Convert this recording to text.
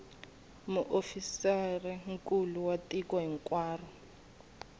muofisirinkulu wa tiko hinkwaro hi